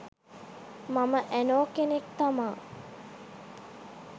මම ඇනෝ කෙනෙක් තමා